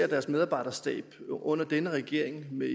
deres medarbejderstab under denne regering med